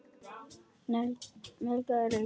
Negla nagla er að reykja.